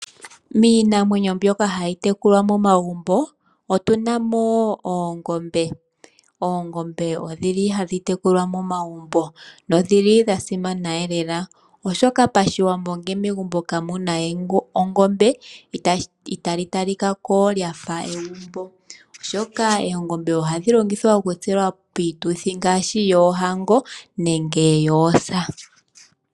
Miinamwenyo mbyoka hayi tekulwa momagumbo otuna mo wo oongombe. Oongombe odhili hadhi tekulwa momagumbo nodhi li dha simana lela. Oshoka pashiwambo ngele megumbo kamuna ongombe itali talika ko lyafa egumbo oshoka oongombe ohadhi longithwa okutselwa piituthi ngaashi yoohango nenge yoosa.